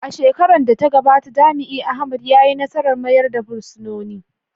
A shekarar da ta gabata, jami’in Ahmed ya yi nasarar mayar da fursunonin.